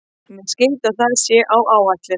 Mér skilst að það sé á áætlun.